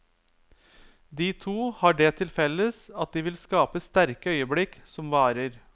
De to har det til felles at de vil skape sterke øyeblikk som varer.